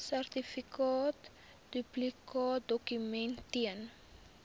sertifikaat duplikaatdokument ten